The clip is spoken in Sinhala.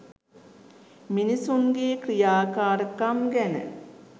මිනිසුන්ගේ ක්‍රියාකාරකම් ගැන